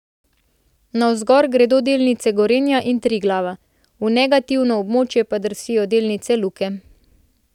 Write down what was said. Navzgor gredo delnice Gorenja in Triglava, v negativno območje pa drsijo delnice Luke.